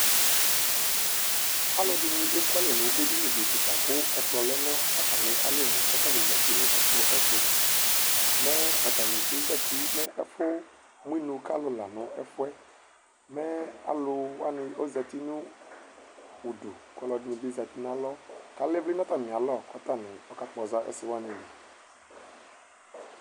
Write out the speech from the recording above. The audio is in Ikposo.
Alʋɛdini ekʋ alɛ nʋ edinidi kika kʋ ɛkplɔ lɛnʋ atami alɔnʋ Kʋ atani zati nʋ ɛkplɔ yɛ ɛtʋ Mɛ atani ezati mɛ efʋ mʋ inʋ kalʋ lanʋ ɛfʋ yɛ Mɛ alʋ wani ozati nʋ ʋdʋ kʋ ɔlɔdibi zati nʋ alɔ kʋ alɛ ivli nʋ atami alɔ kʋ atani kakpɔza ɛsɛ wanili